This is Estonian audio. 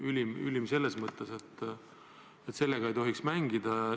See on ülim selles mõttes, et sellega ei tohi mängida.